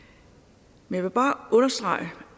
men jeg vil bare